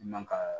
Man ka